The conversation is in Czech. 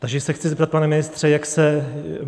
Takže se chci zeptat, pane ministře, jak se